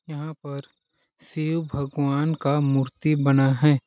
यहाँ पर शिव भगवान का मूर्ती बना है।